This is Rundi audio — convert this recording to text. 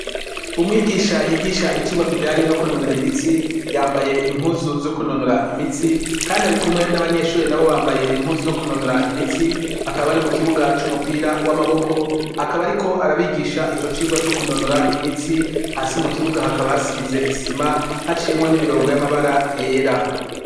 Umwigisha yigisha icirwa kijanye no kunonora imitsi yambaye impuzu zo kunonora imitsi kandi arikumwe nabanyeshure nabo bambaye impuzu zo kunonora imitsi akaba ari mukibuga cumupira wamaboko akaba ariko arabigisha ico cirwa co kunonora imitsi hasi mukibuga hakaba hasize isima haciyemwo nimirongo yamabara yera